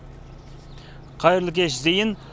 қайырлы кеш зейін